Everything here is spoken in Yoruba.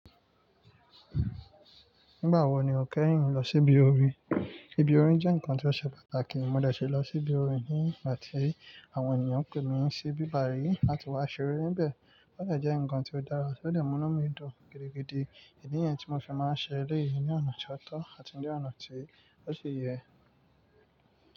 Nígbà wo ni o kẹ́yìn lọ sí ibi orin? Ibi orin jẹ́ nǹkan tí ó ṣe pàtàkì, mo dẹ̀ ṣì lọ sí ibi orin nígbà tí àwọn ènìyàn pè mí sí ibi bayii láti wá ṣeré níbẹ̀. Ó de jẹ́ nǹkan tí ó dára, ó de mú nu mí dùn gidigidi. Idí ni yen tí mo fi máa ń ṣẹ eleyii nínú ọ̀nà ti o to àti ní ọ̀nà tí ó ṣi yẹ.